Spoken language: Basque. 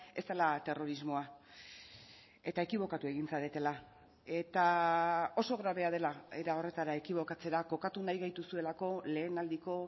ez dela terrorismoa eta ekibokatu egin zaretela eta oso grabea dela era horretara ekibokatzera kokatu nahi gaituzuelako lehenaldiko